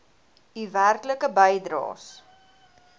u werklike bydraes